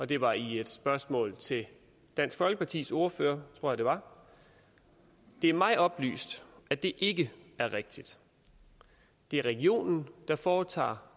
det var i et spørgsmål til dansk folkepartis ordfører tror jeg at det var det er mig oplyst at det ikke er rigtigt det er regionen der foretager